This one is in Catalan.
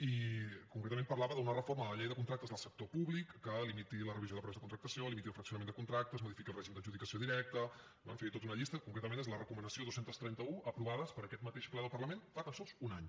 i concretament parlava d’una reforma de la llei de contractes del sector públic que limiti la revisió de preus de contractació limiti el fraccionament de contractes modifiqui el règim d’adjudicació directa bé en fi tota una llista concretament és la recomanació dos cents i trenta un aprovada per aquest mateix ple del parlament fa tan sols un any